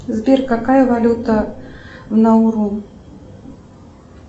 сбер какая валюта на уру